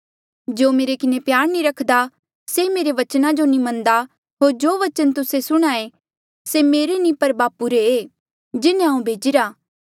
जो मेरे किन्हें प्यार नी रखदा से मेरे बचना जो नी मन्नदा होर जो बचन तुस्से सुणहां ऐें से मेरे नी पर बापू रे ई जिन्हें हांऊँ भेजिरा